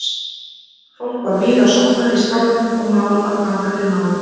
Fólk var víða sofnað í skálanum og mál að ganga til náða.